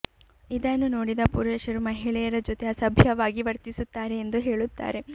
ಇದನ್ನು ನೋಡಿದ ಪುರುಷರು ಮಹಿಳೆಯರ ಜೊತೆ ಅಸಭ್ಯವಾಗಿ ವರ್ತಿಸುತ್ತಾರೆ ಎಂದು ಹೇಳುತ್ತಾರೆ